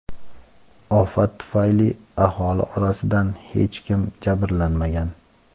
Ofat tufayli aholi orasidan hech kim jabrlanmagan.